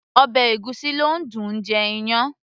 ọbẹ̀ ègúsí ló dùn -un jẹ iyán